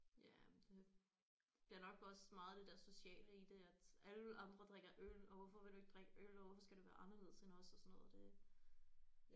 Ja men det det er nok også meget det der sociale i det at alle andre drikker øl og hvorfor vil du ikke drikke øl og hvorfor skal du være anderledes end os og sådan noget det